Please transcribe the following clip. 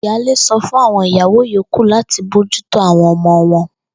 Ìyáálé so̩ fún àwo̩n ìyàwó yòókù láti bójúto àwo̩n o̩mo̩ wo̩n